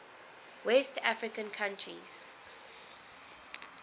west african countries